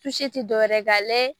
tɛ dɔwɛrɛ ye ga layɛ